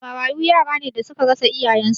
Marayu yara ne da suka rasa iyayen su